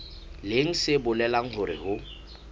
leng se bolelang hore ho